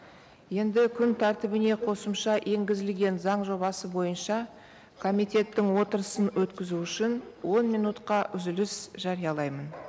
енді күн тәртібіне қосымша енгізілген заң жобасы бойынша комитеттің отырысын өткізу үшін он минутқа үзіліс жариялаймын